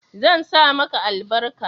zan sa maka albarka